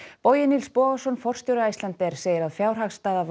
Bogi Nils Bogason forstjóri Icelandair segir að fjárhagsstaða